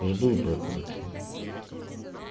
жду братан тебя